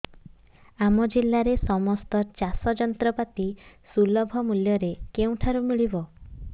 ଆମ ଜିଲ୍ଲାରେ ସମସ୍ତ ଚାଷ ଯନ୍ତ୍ରପାତି ସୁଲଭ ମୁଲ୍ଯରେ କେଉଁଠାରୁ ମିଳିବ